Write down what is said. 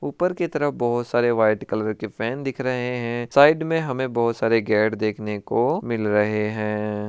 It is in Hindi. ऊपर की तरफ बहुत सारे व्हाइट कलर के फैन दिख रहे हैं साइड में हमे बहुत सारे गेट देखने को मिल रहे हैं।